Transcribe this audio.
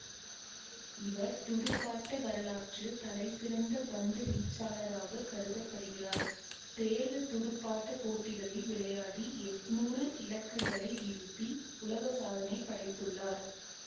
இவர் துடுப்பாட்ட வரலாற்றில் தலைசிறந்த பந்து வீச்சாளராக கருத படுகிறார் தேர்வு துடுப்பாட்ட போட்டிகளில் விளையாடி எட்ணூறு இலக்குகளை வீழ்த்தி உலகசாதனை படைத்துள்ளார்